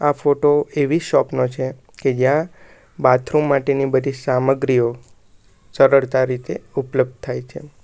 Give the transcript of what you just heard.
આ ફોટો એવી શોપ નો છે કે જ્યાં બાથરૂમ માટેની બધી સામગ્રીઓ સરળતા રીતે ઉપલબ્ધ થાય છે.